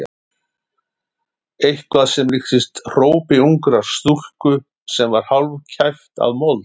Eitthvað sem líktist hrópi ungrar stúlku sem var hálfkæft af mold.